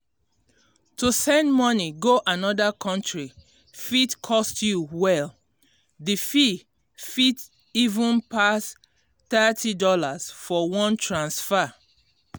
to send moni go another country fit cost you well. d fee fit even pass $30 for one transfer.